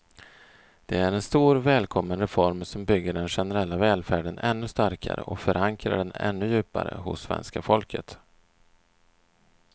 Det är en stor, välkommen reform som bygger den generella välfärden ännu starkare och förankrar den ännu djupare hos svenska folket.